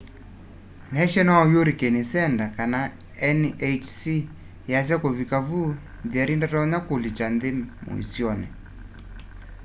national hurricane center nhc yasya kuvikia vu jerry ndatonya kulikya nthi muisyoni